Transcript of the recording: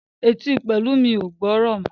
Etí Pelumi o gbórò mọ.